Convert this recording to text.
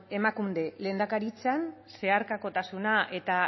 emakunde lehendakaritzan zeharkakotasuna eta